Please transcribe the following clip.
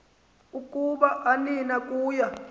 ukuba anina kuya